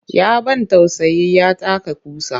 Ya ban tausayi ya taka ƙusa